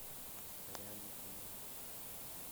реальный футбол